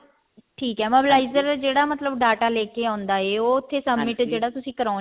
ਠੀਕ ਹੈ mobilizer ਜਿਹੜਾ ਮਤਲਬ data ਲੈਕੇ ਆਉਂਦਾ ਹੈ submit ਜਿਹੜਾ ਤੁਸੀਂ ਕਰਾਉਂਦੇ ਹੋ